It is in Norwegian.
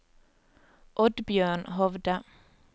Oddbjørn Hovde